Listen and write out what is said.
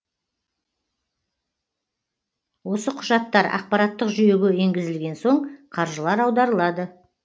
осы құжаттар ақпараттық жүйеге енгізілген соң қаржылар аударылады